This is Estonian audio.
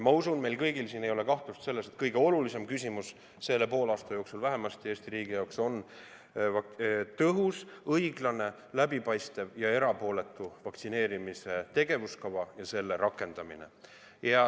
Ma usun, et meil kellelgi ei ole kahtlust, et kõige olulisem küsimus Eesti riigis on vähemasti selle poolaasta jooksul tõhus, õiglane, läbipaistev ja erapooletu vaktsineerimise tegevuskava ja selle rakendamine.